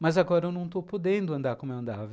Mas agora eu não estou podendo andar como eu andava.